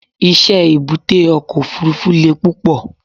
iṣẹ èbúté oko ofurufu le púpò